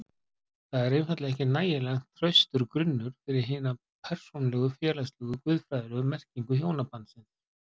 Það er einfaldlega ekki nægjanlega traustur grunnur fyrir hina persónulegu, félagslegu og guðfræðilegu merkingu hjónabandsins.